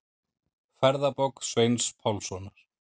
Ferðabók Sveins Pálssonar.